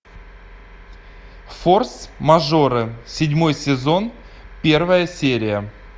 форс мажоры седьмой сезон первая серия